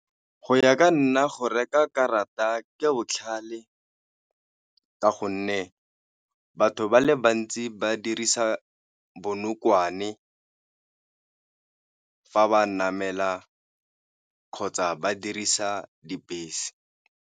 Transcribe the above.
Go ya ka nna go reka karata ke botlhale ka gonne batho ba le bantsi ba dirisa bonokwane fa ba namela kgotsa ba dirisa dibese.